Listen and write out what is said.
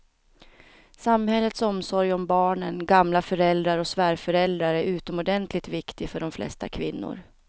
Samhällets omsorg om barnen, gamla föräldrar och svärföräldrar är utomordentligt viktig för de flesta kvinnor.